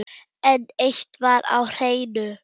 En eitt var á hreinu.